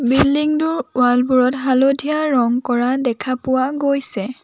Building টোৰ wall বোৰত হালধীয়া ৰং কৰা দেখা পোৱা গৈছে।